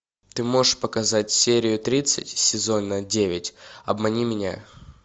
ты можешь показать серию тридцать сезона девять обмани меня